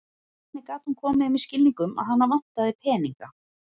Hvernig gat hún komið þeim í skilning um að hana vantaði peninga?